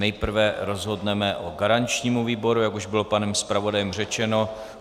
Nejprve rozhodneme o garančním výboru, jak už bylo panem zpravodajem řečeno.